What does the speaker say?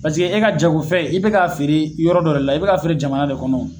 e ka jagofɛn i bɛ k'a feere yɔrɔ dɔ la i bɛ k'a feere jamana de kɔnɔ